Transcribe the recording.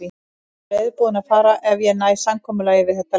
Ég er reiðubúinn að fara ef ég næ samkomulagi við þetta lið.